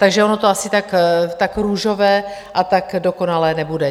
Takže ono to asi tak růžové a tak dokonalé nebude.